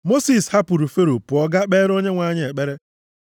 Mosis hapụrụ Fero pụọ gaa kpeere Onyenwe anyị ekpere.